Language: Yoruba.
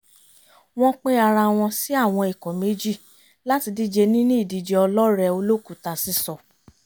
wọ́n pín ara wọn sí àwọn ikọ̀ méjì láti díje nínú ìdíje ọlọ́rẹ̀ẹ́ olókùúta sísọ